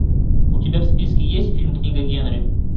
у тебя в списке есть фильм книга генри